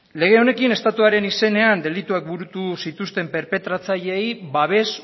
lege honekin estatuaren izenean delituak burutu zituzten perpetratzaileei babes